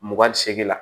Mugan ni seegin la